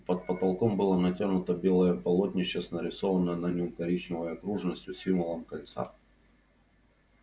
под потолком было натянуто белое полотнище с нарисованной на нём коричневой окружностью символом кольца